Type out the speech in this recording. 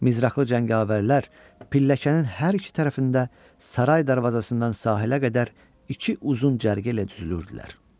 Mizraqlı cəngavərlər pilləkənin hər iki tərəfində saray darvazasından sahilə qədər iki uzun cərgə ilə düzülürdülər.